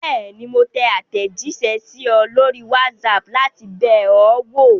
Bẹ́ẹ̀ni, mo tẹ àtẹ̀jíṣẹ́ sí ọ lórí WhatsApp láti bẹ̀ ọ́ wò.